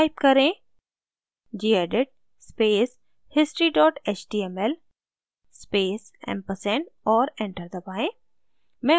type करें: gedit space history html space ampersand और enter दबाएँ